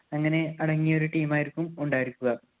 അങ്ങനെ അടങ്ങിയ ഒരു team ആയിരിക്കും ഉണ്ടായിരിക്കുക.